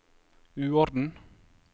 uorden